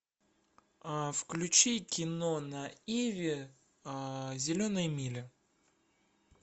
включи кино на иви зеленая миля